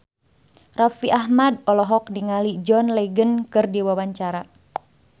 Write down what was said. Raffi Ahmad olohok ningali John Legend keur diwawancara